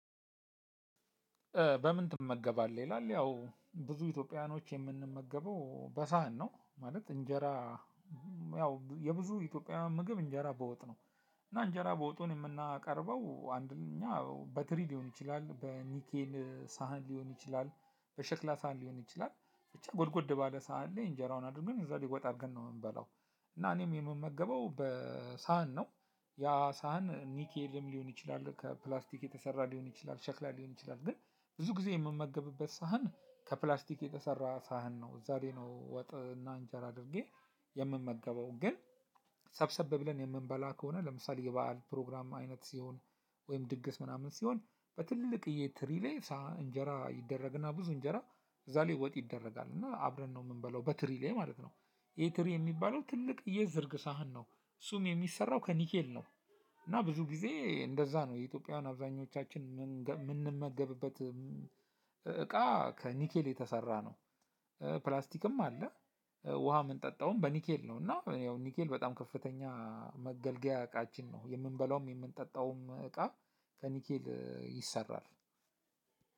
በምን? ትመገባለህ ይላል ያው ብዙ ኢትዮጵያውያኖች የምንመገበው በሳህን ነው ማለት እንጀራ ያው የብዙ ኢትዮጵያ ምግብ እንጀራ በወጥ ነው። እና እንጀራ በወጡን የምናቀርበው አንድ እኛ በትሪ ሊሆን ይችላል በኒኬል ሳህን ሊሆን ይችላል በሸክላ ሳህን ሊሆን ይችላል ብቻ ጎድጎድ ባለ ሳህን ላይ እንጀራውን አድርገን እዛ ሊጎጥ አድርገን ነው የምንበላው። እና እኔም የምመገበው በሳህን ነው። ያ ሳህን ኒኬልም ሊሆን ይችላል ከፕላስቲክ የተሰራ ሊሆን ይችላል ሸክላ ሊሆን ይችላል ግን ብዙ ጊዜ የምመገብበት ሳህን ከፕላስቲክ የተሰራ ሳህን ነው እዛዬ ነው። ወጥ እና እንጀራ አድርጌ የምመገበው። ግን ሰብሰብ ብለን የምንበላ ከሆነ ለምሳሌ የበአል ፕሮግራም አይነት ሲሆን ወይም ድግስ ምናምን ሲሆን በትልቅዬ ትሪ ላይ እንጀራ ይደረግ እና ብዙ እንጀራ እዛ ላይ ወጥ ይደረጋል እና አብረን ነው የምንበለው በትሪ ላይ ማለት ነው። ይሄ ትሪ የሚባለው ትልቅ የዝርግ ሳህን ነው። እሱም የሚሰራው ከኒኬል ነው። እና ብዙ ጊዜ እንደዛ ነው የኢትዮጵያውያን አብዛኞቻችን የምንመገብበት እቃ ከኒኬል የተሰራ ነው። ፕላስቲክም አለ። ውሃ የምንጠጣውም በኒኬል ነው እና ኒኬል በጣም ከፍተኛ መገልገያ እቃችን ነው። የምንበላውም የምንጠጣውም እቃ ከኒኬል ይሰራል።